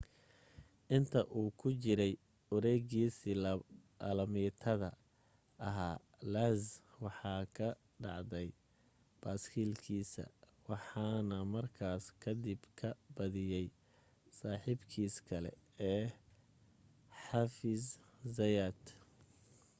inta uu ku jiray wareegiisa alaamitada ahaa lenz waxa ka dhacday baaskiilkiisa waxaana markaa kadib ka badiyay saaxiibkiis kale ee xavier zayat